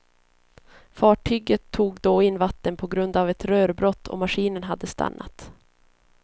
Fartyget tog då in vatten på grund av ett rörbrott och maskinen hade stannat.